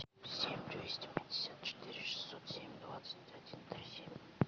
семь двести пятьдесят четыре шестьсот семь двадцать один три семь